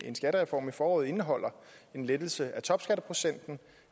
en skattereform i foråret indeholder en lettelse af topskatteprocenten